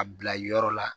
A bila yɔrɔ la